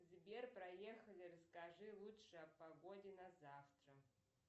сбер проехали расскажи лучше о погоде на завтра